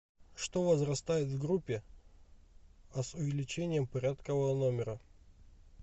что возрастает в группе а с увеличением порядкового номера